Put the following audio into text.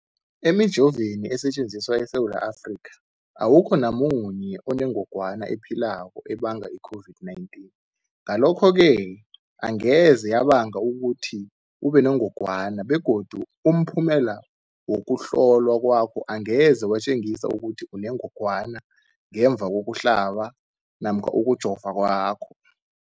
Emijoveni esetjenziswa eSewula Afrika, awukho namunye onengog wana ephilako ebanga i-COVID-19. Ngalokho-ke angeze yabanga ukuthi ubenengogwana begodu umphumela wokuhlolwan kwakho angeze watjengisa ukuthi unengogwana ngemva kokuhlaba namkha kokujova kwakho.